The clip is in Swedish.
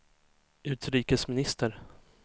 utrikesminister